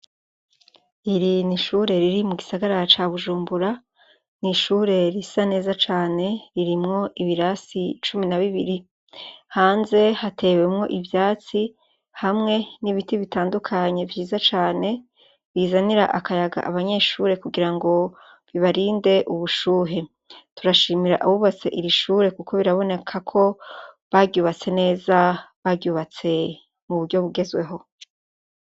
Iri ni ishure riri mu gisagara ça Bujumbura, ni ishure risa neza cane, ririmwo ibirasi cumi na bibiri. Hanze hatewemwo ivyatsi, hamwe n'ibiti bitandukanye vyiza cane, bizanira akayaga abanyeshure kugira ngo bibarinde ubushuhe. Turashimira abubatse iri shure kuko biraboneka ko baryubatse neza, baryubatse mu buryo bugezweho.